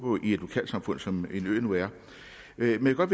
i et lokalsamfund som en ø nu er men jeg vil godt